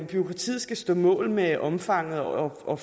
bureaukratiet skal stå mål med omfanget og og